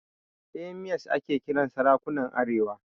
Emirs ake kiran sarakunan arewa.